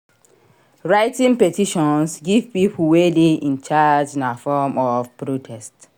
Writting petitions give people wey de in charge na form of protest